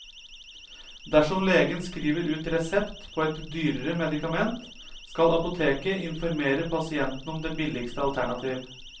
Dersom legen skriver ut resept på et dyrere medikament, skal apoteket informere pasienten om det billigste alternativ.